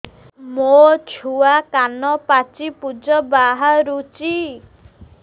ମୋ ଛୁଆ କାନ ପାଚି ପୂଜ ବାହାରୁଚି